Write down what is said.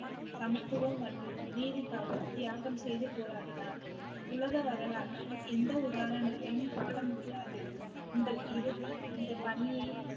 சமத்துவம் மற்றும் நீதிக்காக தியாகம் செய்து போராடினார் உலக வரலாற்றில் எந்த உதாரணத்தையும் காண முடியாது உங்கள் இறுதி இந்த பணியை